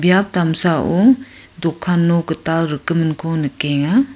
biap damsao dokan nok gital rikgiminko nikenga.